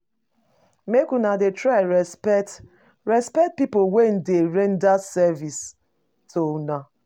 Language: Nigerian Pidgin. Make una dey try respect respect pipo wey dey render service to una.